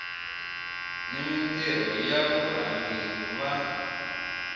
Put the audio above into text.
ni mintirho ya varhangeri va